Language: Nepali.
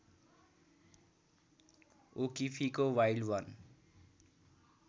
ओकिफीको वाइल्ड वन